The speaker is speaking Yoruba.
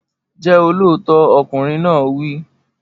Jẹ́ olóòótọ́! Ọkùnrin náà wí.